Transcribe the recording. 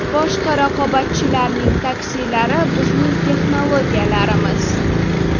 Boshqa raqobatchilarning taksilari bizning texnologiyalarimiz.